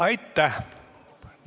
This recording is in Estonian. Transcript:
Aitäh!